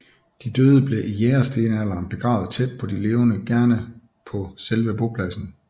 De døde blev i jægerstenalderen begravet tæt på de levende gerne på selve bopladsen